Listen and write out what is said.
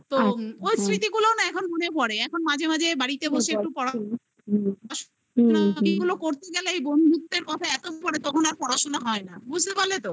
তো ওই স্মৃতিগুলোও না এখন মনে পরে, এখন মাঝে মাঝে বাড়িতে বসে পড়াশোনা এগুলো করতে গেলেই বন্ধুত্বের কথা এত মনে পরে, তখন আর পড়াশোনা হয় না বুঝতে পারলে তো?